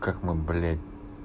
как мы блять